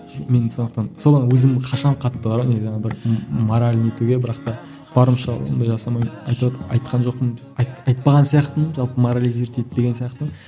мен сондықтан содан өзім қашамын қатты бар ғой неден бір мораль не етуге бірақ та барынша ондай жасамаймын айтып айтқан жоқпын айтпаған сияқтымын жалпы моролизировать етпеген сияқтымын